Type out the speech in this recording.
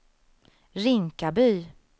Rinkaby